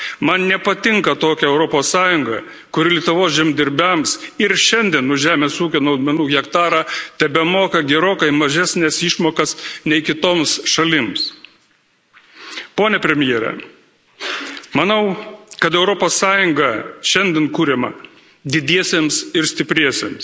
Man nepatinka tokia Europos Sąjunga, kur Lietuvos žemdirbiams ir šiandien už žemės ūkio naudmenų hektarą tebemoka gerokai mažesnes išmokas nei kitoms šalims. Pone premjere, manau, kad Europos Sąjunga šiandien kuriama didiesiems ir stipriesiems,